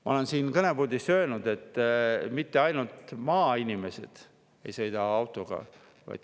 Ma olen siin kõnepuldis öelnud, et mitte ainult maainimesed ei sõida autoga.